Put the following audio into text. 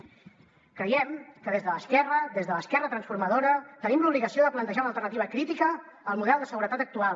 creiem que des de l’esquerra des de l’esquerra transformadora tenim l’obligació de plantejar una alternativa crítica al model de seguretat actual